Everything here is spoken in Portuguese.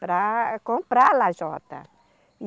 para comprar a lajota.